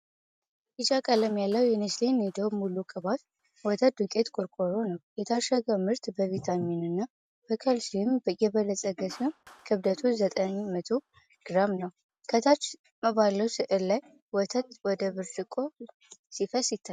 ቢጫ ቀለም ያለው የኔስሌ ኒዶ ሙሉ ቅባት ወተት ዱቄት ቆርቆሮ ነው። የታሸገው ምርት በቪታሚንና በካልሲየም የበለፀገ ሲሆን፣ ክብደቱ ዘጠኝ መቶ ግራም ነው። ከታች ባለው ሥዕል ላይ ወተት ወደ ብርጭቆ ሲፈስ ይታያል።